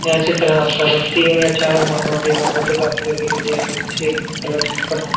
या चित्रात आपल्याला तीन या चार मोठी मोठी इमारते दाखवली गेलेली आहे ते याला चिठकून आहे.